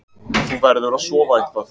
Þú verður að sofa eitthvað.